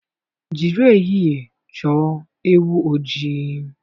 Jiri ehihie chọọ ewu ojii.